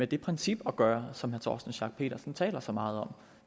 det princip at gøre som herre torsten schack pedersen taler så meget om